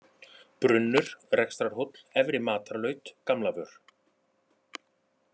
Brunnur, Rekstrarhóll, Efri-Matarlaut, Gamlavör